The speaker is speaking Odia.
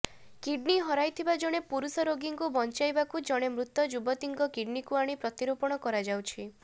କିଡନୀ ହରାଇଥିବା ଜଣେ ପୁରୁଷ ରୋଗୀଙ୍କୁ ବଂଚାଇବାକୁ ଜଣେ ମୃତ ଯୁବତୀଙ୍କ କିଡନୀକୁ ଆଣି ପ୍ରତିରୋପଣ କରାଯାଉଛି